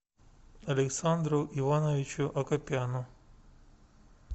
александру ивановичу акопяну